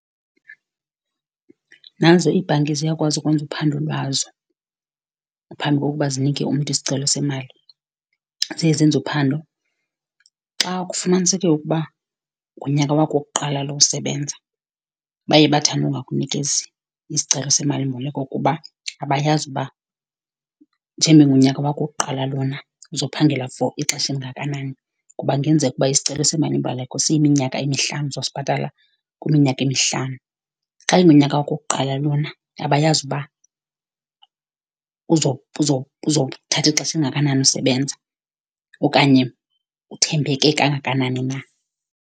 Nazo iibhanki ziyakwazi ukwenza uphando lwazo phambi kokuba zinike umntu isicelo semali. Ziye zenze uphando, xa kufumaniseke ukuba ngunyaka wakho wokuqala lo usebenza baye bathande ukungakunikezi isicelo semalimboleko. Kuba abayazi ukuba njengoba ingunyaka wakho wokuqala lona uzophangela for ixesha elingakanani, kuba kungenzeka uba isicelo semalimboleko siyiminyaka emihlanu, uzosibhatala kwiminyaka emihlanu. Xa ingunyaka wakho wokuqala lona abayazi uba uzothatha ixesha elingakanani usebenza, okanye uthembeke kangakanani na.